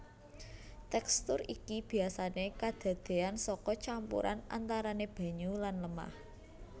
Tèkstur iki biyasané kadadéyan saka campuran antarané banyu lan lemah